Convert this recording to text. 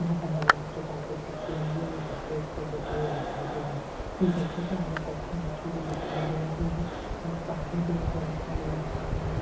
यहाँ पर हरे रंग की कारपेट बिछी हुई है और बच्चे उस पर बैठे हुए दिखाई दे रहै है कुछ बच्चों के आगे कॉपीयां रखी हुई दिखाई दे रही है और आगे भी एक औरत खड़ी हुई दिखाई दे रही है ।